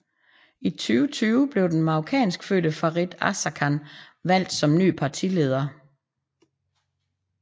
I 2020 blev den marokkanskfødte Farid Azarkan valgt som ny partlieder